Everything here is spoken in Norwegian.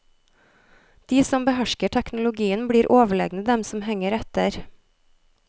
De som behersker teknologien blir overlegne dem som henger etter.